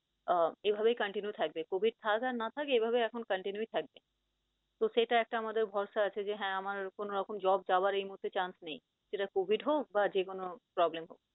আহ এভাবেই continue থাকবে, covid থাক আর না থাক এভাবেই এখন continue থাকবে, তো সেটা একটা আমাদের ভরসা আছে যে হ্যাঁ আমার কোন রকম job যাওয়ার এই মুহূর্তে chance নেই সেটা covid হোক বা যেকোনো problem হোক